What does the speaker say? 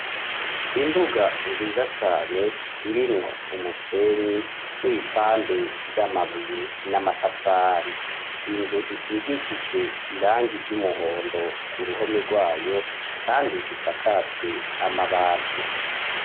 Imbuga nziza cane irimwo umusenyi n'ibipande vy'amabuye n'amatafari; inzu isigishijwe irangi ry'umuhondo ku ruhome rwayo kandi isakajwe amabati.